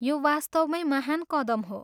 यो वास्तवमैँ महान् कदम हो।